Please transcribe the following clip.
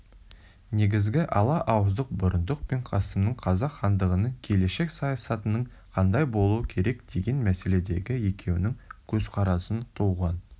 негізгі ала ауыздық бұрындық пен қасымның қазақ хандығының келешек саясатының қандай болуы керек деген мәселедегі екеуінің көзқарасынан туған